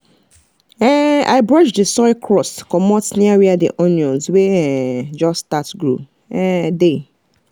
um i brush the soil crust comot near where the onions wey um just start grow um dey